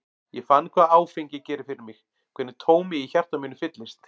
Ég fann hvað áfengi gerir fyrir mig, hvernig tómið í hjarta mínu fyllist.